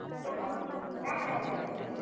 ଓହୋ, କାଣା କାଣା ଚାଷ୍ କର୍ ସ?